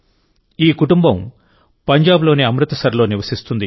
ఈ కుటుంబం పంజాబ్లోని అమృత్సర్లో నివసిస్తుంది